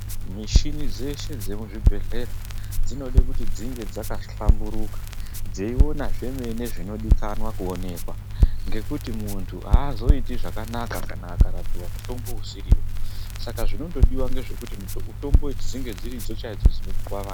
Mishini dzeshe dzemuzvibhehlera dzinodae kuti dzinge dzakahlamburuka dzeiona zveshe zvinodikanwa kuonekwa nekuti, muntu aazoiti zvakanaka akarapiva nemutombo usivo. Chaanoda ngechekuti mitombo idzi dzinge dziridzo chaidzo dzinopuve vantu.